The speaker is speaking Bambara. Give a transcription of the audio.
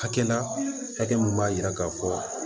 Hakɛ la hakɛ min b'a jira k'a fɔ